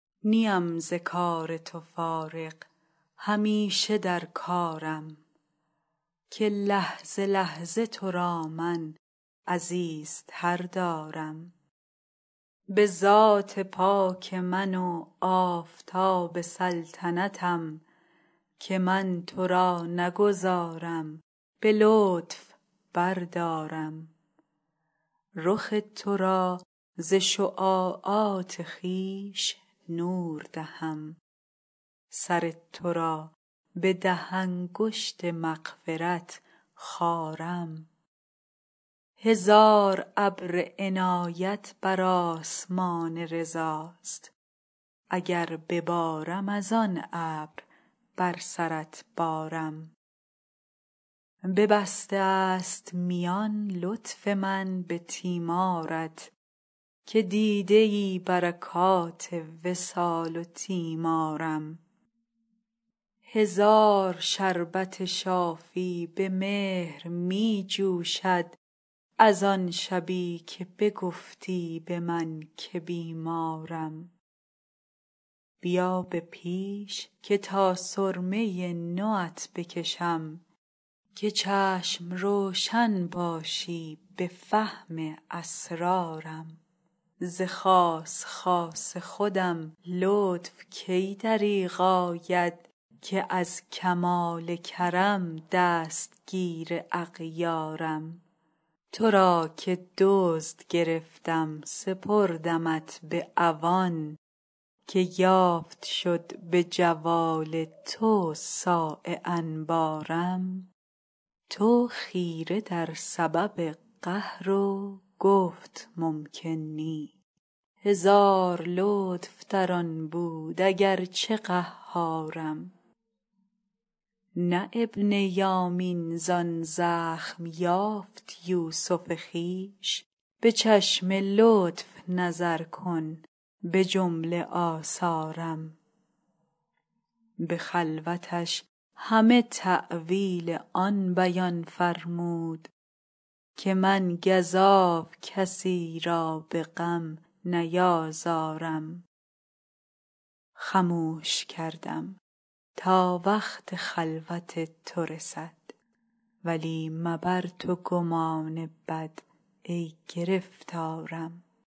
نیم ز کار تو فارغ همیشه در کارم که لحظه لحظه تو را من عزیزتر دارم به ذات پاک من و آفتاب سلطنتم که من تو را نگذارم به لطف بردارم رخ تو را ز شعاعات خویش نور دهم سر تو را به ده انگشت مغفرت خارم هزار ابر عنایت بر آسمان رضاست اگر ببارم از آن ابر بر سرت بارم ببسته ست میان لطف من به تیمارت که دیده ای برکات وصال و تیمارم هزار شربت شافی به مهر می جوشد از آن شبی که بگفتی به من که بیمارم بیا به پیش که تا سرمه نو ات بکشم که چشم روشن باشی به فهم اسرارم ز خاص خاص خودم لطف کی دریغ آید که از کمال کرم دستگیر اغیارم تو را که دزد گرفتم سپردمت به عوان که یافت شد به جوال تو صاع انبارم تو خیره در سبب قهر و گفت ممکن نی هزار لطف در آن بود اگر چه قهارم نه ابن یامین زان زخم یافت یوسف خویش به چشم لطف نظر کن به جمله آثارم به خلوتش همه تأویل آن بیان فرمود که من گزاف کسی را به غم نیازارم خموش کردم تا وقت خلوت تو رسد ولی مبر تو گمان بد ای گرفتارم